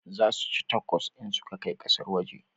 Za su ci takos in su kai kasar waje